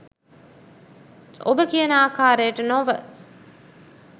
ඔබ කියන ආකාරයට නොව